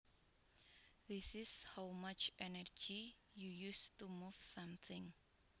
This is how much energy you used to move something